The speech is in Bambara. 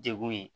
Degun ye